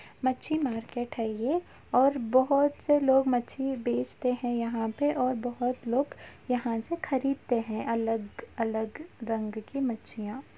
मच्छी मार्केट है यह और बहोत से लोग मछली बेचते है यहाँ पे और बहोत लोग यहां से खरीदते हैं अलग-अलग रंग के मछलिया --